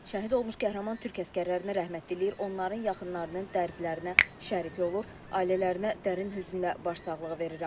Şəhid olmuş qəhrəman türk əsgərlərinə rəhmət diləyir, onların yaxınlarının dərdlərinə şərik olur, ailələrinə dərin hüznlə başsağlığı verirəm.